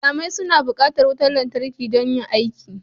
Wanzamai suna bukatar wutar lantarki don yin aiki